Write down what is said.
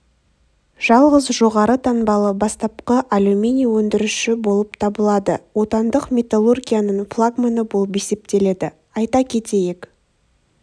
жалғыз жоғары таңбалы бастапқы алюминий өндіруші болып табылады отандық металлургияның флагманы болып есептеледі айта кетейік